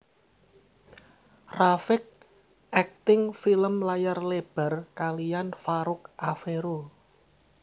rafiq akting film layar lebar kaliyan Farouk Afero